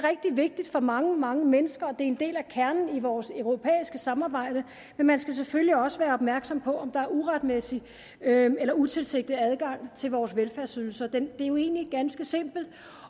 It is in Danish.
vigtigt for mange mange mennesker og det er en del af kernen i vores europæiske samarbejde men man skal selvfølgelig også være opmærksom på om der er uretmæssig eller utilsigtet adgang til vores velfærdsydelser det er jo egentlig ganske simpelt